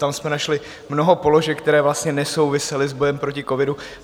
Tam jsme našli mnoho položek, které vlastně nesouvisely s bojem proti covidu.